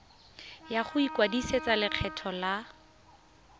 ya go ikwadisetsa lekgetho la